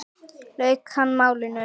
lauk hann málinu.